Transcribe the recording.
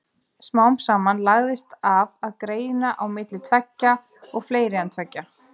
Smám saman lagðist af að greina á milli tveggja og fleiri en tveggja.